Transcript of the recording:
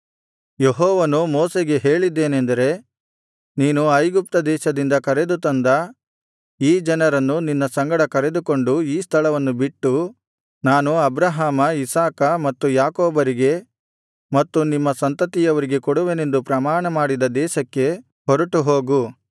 ಯೆಹೋವನು ಮೋಶೆಗೆ ಹೇಳಿದ್ದೇನೆಂದರೆ ನೀನು ಐಗುಪ್ತ ದೇಶದಿಂದ ಕರೆದುತಂದ ಈ ಜನರನ್ನು ನಿನ್ನ ಸಂಗಡ ಕರೆದುಕೊಂಡು ಈ ಸ್ಥಳವನ್ನು ಬಿಟ್ಟು ನಾನು ಅಬ್ರಹಾಮ ಇಸಾಕ ಮತ್ತು ಯಾಕೋಬರಿಗೆ ಮತ್ತು ನಿಮ್ಮ ಸಂತತಿಯವರಿಗೆ ಕೊಡುವೆನೆಂದು ಪ್ರಮಾಣ ಮಾಡಿದ ದೇಶಕ್ಕೆ ಹೊರಟುಹೋಗು